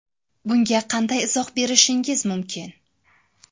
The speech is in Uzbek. Bunga qanday izoh berishingiz mumkin?